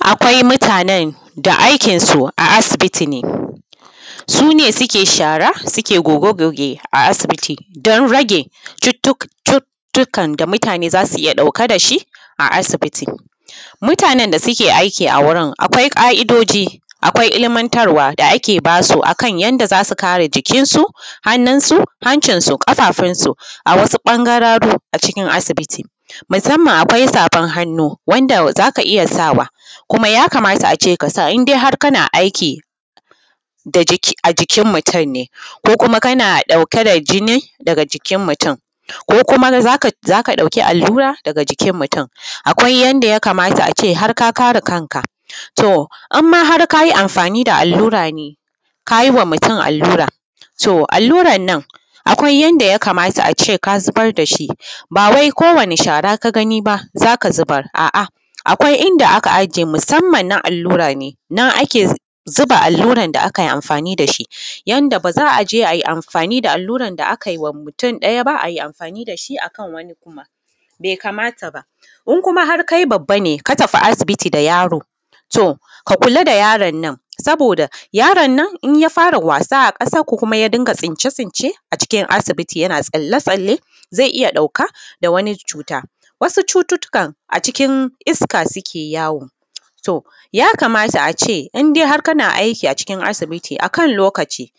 Akwai mutanen da aikinsu a asibiti ne su ne suke share-share da goge-goge don rage cututtukan da mutane za su iya ɗauka da shi a asibiti, mutanen da suke aiki a wurin akwai ƙaidoji, akwai ilmantarwa da ake ba su akan yanda za su kare jikinsu, hannunsu, hancinsu, ƙafafunsu. A wasu ɓangararu a asibiti musamman akwai safan hannu wanda za ka iya sawa kuma ya kamata a ce ka sa har kana aiki a jikin mutun ne ko kuma kana ɗauke da jinin daga jikin mutun ko kuma za ka ɗauki allura daga jikin mutun. Akwai yanda ya kamata a ce har ka kare kanka, to har ma in ka yi anfani da allura ne ka yi wa mutun allura, so alluran nan akwai yanda ya kamata a ce ka zubar da shi ba wai ko wani shara ka ga ni ba za ka zubar, a’a akwai inda aka aje musamman na allura ne nan ake zuba da alluran da akai anfani da shi. Yanda ba za a je ai anfani da alluran da akai wa mutum ɗaya ba, ai anfani da shi akan wani kuma ba be kamata ba in kuma har kai babba ne ka tafi asibiti da yaro, to ka kula da yaron nan saboda yaron nan in ya fara wasa a ƙasan ko kuma ya dinga tsince-tsince a cikin asibiti, yana tsalle-tsalle zai iya ɗauka da wani cuta, wasu cututtukan cikin iska suke yawo to ya kamata a ce in har kana aiki a cikin asibiti akan lokaci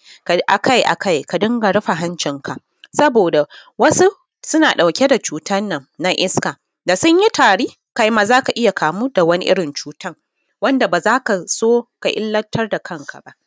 a kai a kai ka dunga rufe hancinka, saboda wasu suna ɗauke da cutan na iska da sun yi tari kai ma za ka iya kamu da wani irin cutan wanda ba za ka so ka illantar da kanka ba.